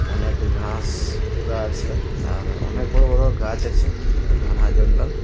অনেক ঘাস উগা আছে আর অনেক বড়ো বড়ো গাছ আছে । এই ঘনা জঙ্গল।